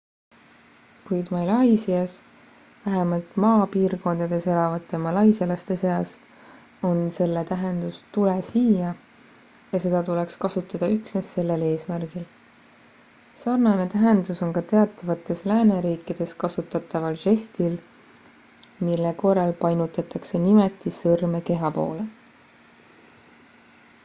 "kuid malaisias vähemalt maapiirkondades elavate malaisialaste seas on selle tähendus "tule siia" ja seda tuleks kasutada üksnes sellel eesmärgil; sarnane tähendus on ka teatavates lääneriikides kasutataval žestil mille korral painutatakse nimetissõrme keha poole.